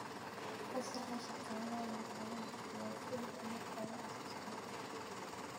Fasaxa shaqaalaha waxaa la bixiyaa kaliya marka la codsado.